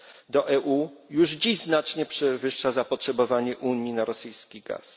do EU już dziś znacznie przewyższa zapotrzebowanie Unii na rosyjski gaz.